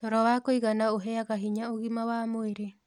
Toro wa kũigana ũheaga hinya ũgima wa mwĩrĩ